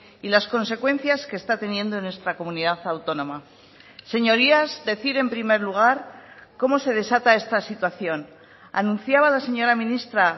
y las consecuencias que está teniendo en nuestra comunidad autónoma señorías decir en primer lugar cómo se desata está situación anunciaba la señora ministra